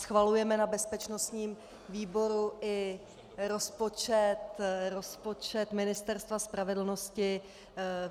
Schvalujeme na bezpečnostním výboru i rozpočet Ministerstva spravedlnosti.